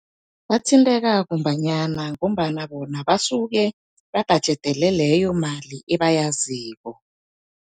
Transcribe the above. Bathinteka kumbanyana, ngombana bona basuke babhajedele leyo mali ebayaziko.